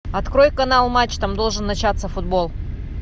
открой канал матч там должен начаться футбол